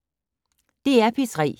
DR P3